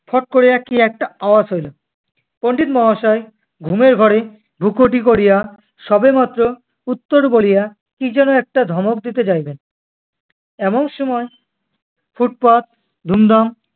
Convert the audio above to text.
ফট করিয়া কি একটা আওয়াজ হইল। পন্ডিত মহাশয় ঘুমের ঘোরে ভ্রুকুটি করিয়া সবেমাত্র ধুত্তোর বলিয়া কী যেনো একটা ধমক দিতে যাইবেন, এমন সময় ফুটফাট, ধুমধাম-